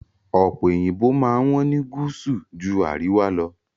Ọ̀pe òyìnbó máa ń wọ́n ní gúúsù ju àríwá lọ.